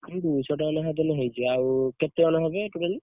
ସେଇ ଦୁଇଶହ ଟଙ୍କା ଲେଖା ଦେଲେ ହେଇଯିବ। ଆଉ କେତେ ଜଣ ହେବେ totally ?